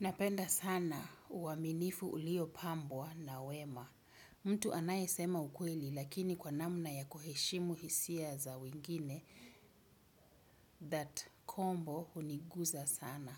Napenda sana uaminifu uliopambwa na wema. Mtu anayesema ukweli lakini kwa namna ya kuheshimu hisia za wengine that combo huniguza sana.